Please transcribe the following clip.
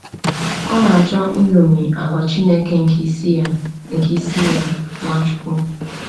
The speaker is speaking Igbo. Ọ na-achọ iṅomi àgwà Chineke nke isi ya, nke isi ya, Nwachukwu.